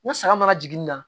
Ni saga mana jigin nin na